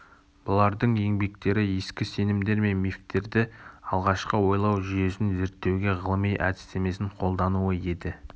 бұлардың еңбектері ескі сенімдер мен мифтерді алғашқы ойлау жүйесін зерттеуге ғылыми әдістемесін қолдануы еді